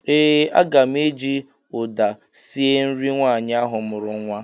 Ee! Aga m eji ụda sie nri nwaanyị ahụ mụrụ nwa.